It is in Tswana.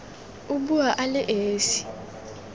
o bua a le esi